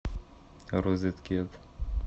розеткед